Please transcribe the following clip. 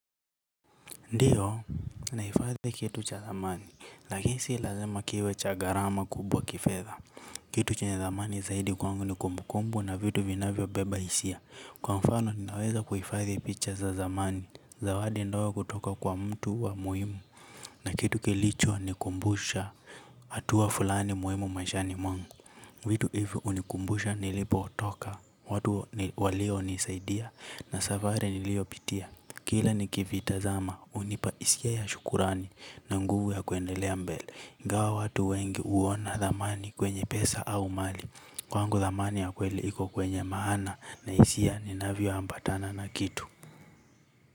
Ndiyo naifadhi kitu cha thamani. Lakini si lazima kiwe cha gharama kubwa kifedha. Kitu chenye thamani zaidi kwangu ni kumbukumbu na vitu vinavyo beba hisia. Kwa mfano ninaweza kuifadhi picha za thamani. Zawadi ndogo kutoka kwa mtu wa muhimu na kitu kilicho ni kumbusha hatua fulani muhimu maishani mwangu. Vitu hivyo hunikumbusha nilipo toka. Watu walio nisaidia na safari nilio pitia kila ni kivita zama hunipa hisia ya shukurani na nguvu ya kuendelea mbele ingawa watu wengi huona thamani kwenye pesa au mali. Kwangu thamani ya kweli iko kwenye maana na hisia ni navyo ambatana na kitu.